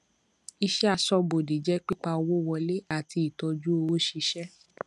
ìṣẹ aṣóbodè jẹ pípa owó wọlé àti ìtọjú òwò ṣíṣe